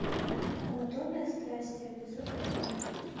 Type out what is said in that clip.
анатомия страсти эпизод один